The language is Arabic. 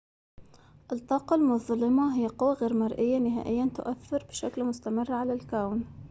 الطاقة المظلمة هي قوى غير مرئية نهائياً تؤثر بشكل مستمر على الكون